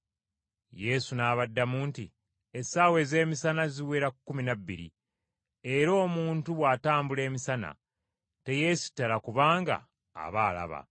Yesu n’abaddamu nti, “Essaawa ez’emisana ziwera kkumi na bbiri, era omuntu bw’atambula emisana teyeesittala kubanga aba alaba.